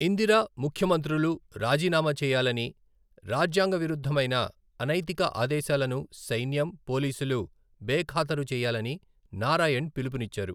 ఇందిర, ముఖ్యమంత్రులు రాజీనామా చేయాలని, రాజ్యాంగ విరుద్ధమైన, అనైతిక ఆదేశాలను సైన్యం, పోలీసులు బేఖాతరు చేయాలని నారాయణ్ పిలుపునిచ్చారు.